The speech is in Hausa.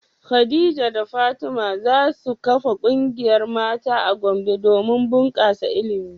Khadija da Fatima za su kafa kungiyar mata a Gombe domin bunkasa ilimi.